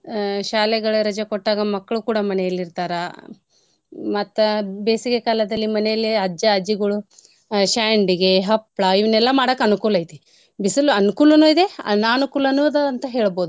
ಅ ಶಾಲೆಗಳಿಗೆ ರಜೆ ಕೊಟ್ಟಾಗ ಮಕ್ಳು ಕೂಡ ಮನೆಲ್ ಇರ್ತಾರಾ. ಮತ್ತ ಬೇಸಿಗೆ ಕಾಲದಲ್ಲಿ ಮನೇಲಿ ಅಜ್ಜಾ ಅಜ್ಜಿಗುಳು ಆ ಶ್ಯಂಡಿಗೆ ಹಪ್ಳ ಇವನೆಲ್ಲ ಮಾಡಾಕ್ ಅನುಕೂಲ್ ಐತಿ. ಬಿಸಲು ಅನ್ಕೂಲನು ಇದೆ ಅನಾನುಕೂಲನು ಅದ ಅಂತ ಹೇಳ್ಬೋದು.